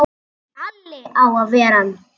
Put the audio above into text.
Alli á að ver ann!